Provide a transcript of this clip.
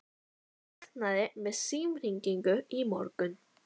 Ég vaknaði við símhringingu í morgun.